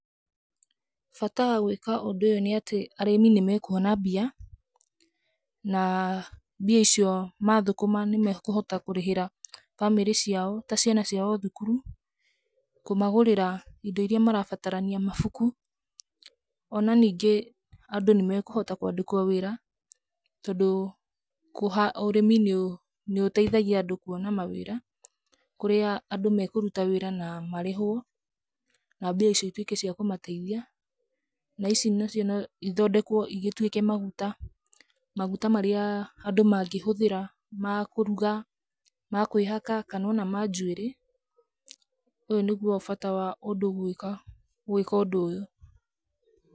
Bata wa gwĩka ũndu ũyũ nĩ atĩ arĩmĩ nĩ mekũona mbia, na mbia icio maathũkũma nĩ mekũhota kũrĩhĩra bamĩrĩ ciao ta ciana ciao thukuru, kũmagũrĩra indo iria marabatarania, mabuku. O na ningĩ andũ nĩ mekũhota kũandĩkwo wĩra tondũ ũrĩmi nĩ ũteithagia andũ kũona mawĩra, kũrĩa andũ mekũruta wĩra na marĩhwo na mbia icio ituĩke cia kũmateithia. Na ici nacio no ithondekwo igĩtuĩke maguta, maguta marĩa andũ mangĩhũthĩra ma kũruga, ma kwĩhaka kana o na ma njuĩrĩ. Ũyũ nĩguo bata wa ũndũ gwĩka ũndũ ũyũ.